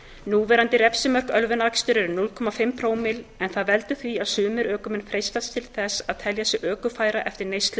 núverandi refsimörk ölvunaraksturs eru núll fimm prómill en það veldur því að sumir ökumenn freistast til þess að telja sig ökufæra eftir neyslu